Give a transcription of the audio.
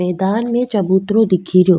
मैदान में चबूतरों दिखेरयो।